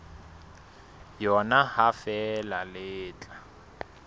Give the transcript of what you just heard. yona ha feela le tla